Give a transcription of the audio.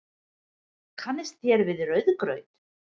Kannist þér við rauðgraut?